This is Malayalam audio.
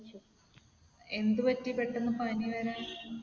എന്ത് പറ്റി പെട്ടെന്ന് പനി വരാൻ?